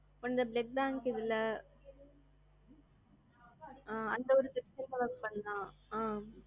அந்த blood bank இதுல, ஆ அந்தஒரு பண்ணலாம் அ.